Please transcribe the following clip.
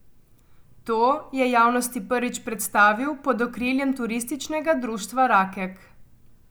To je javnosti prvič predstavil pod okriljem Turističnega društva Rakek.